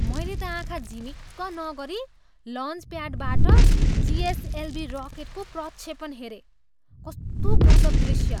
मैले त आँखा झिमिक्क नगरी लन्चप्याडबाट जिएसएलभी रकेटको प्रक्षेपण हेरेँ। कस्तो गजब दृष्य!